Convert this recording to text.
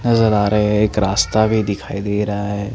नज़र आ रए है एक रास्ता भी दिखाई दे रहा है।